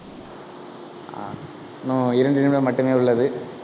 ஆஹ் இன்னும் இரண்டு நிமிடம் மட்டுமே உள்ளது.